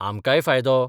आमकांय फायदो.